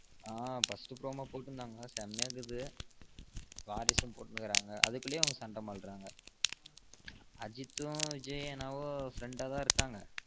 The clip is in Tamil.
ஆமா first promo போடுருந்தங்க செம்மைய இருக்கு வாரிசும் போடுருந்தங்க அதுக்குள்ளையும் சண்ட மல்ராங்க அஜித்தும் விஜய் அண்ணாவும் friend ஆ தான் இருக்காங்க